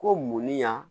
Ko munni ya